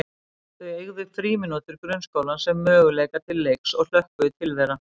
Þau eygðu frímínútur grunnskólans sem möguleika til leiks og hlökkuðu til þeirra.